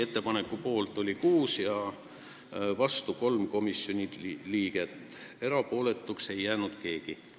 Ettepaneku poolt oli 6 ja vastu 3 komisjoni liiget, erapooletuks ei jäänud keegi.